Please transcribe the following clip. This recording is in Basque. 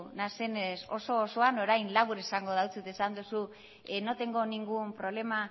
naizenez oso osoan orain labur esango dizut esan duzu no tengo ningún problema